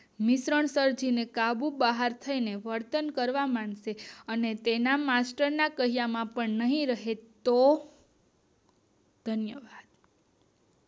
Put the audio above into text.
વિતરણ સમજીને કાબુ બહાર થઇ ને વર્તન કરવા માંડશે અને તેના માસ્ટર ના કહ્યા માં પણ નહિ રહેતો, ધન્યવાદ.